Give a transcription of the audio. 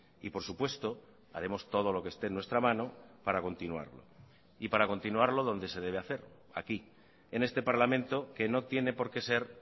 y por supuesto haremos todo lo que esté en nuestra mano para continuarlo y para continuarlo donde se debe hacer aquí en este parlamento que no tiene porque ser